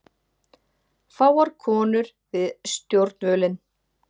Fáar konur við stjórnvölinn